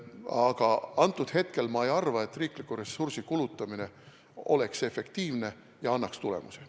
Aga antud hetkel ma ei arva, et riikliku ressursi kulutamine oleks efektiivne ja annaks tulemusi.